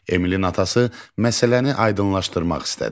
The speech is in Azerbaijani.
Emilin atası məsələni aydınlaşdırmaq istədi.